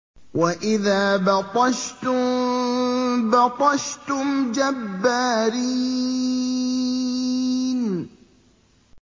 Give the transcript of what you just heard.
وَإِذَا بَطَشْتُم بَطَشْتُمْ جَبَّارِينَ